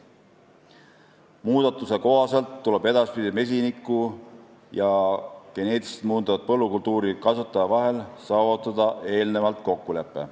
Muudatuse kohaselt tuleb edaspidi mesiniku ja geneetiliselt muundatud põllukultuuri kasvataja vahel saavutada eelnevalt kokkulepe.